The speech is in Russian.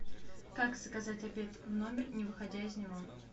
как заказать обед в номер не выходя из него